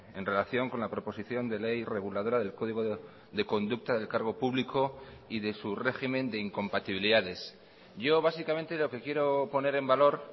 en relación con la proposición de ley reguladora del código de conducta del cargo público y de su régimen de incompatibilidades yo básicamente lo que quiero poner en valor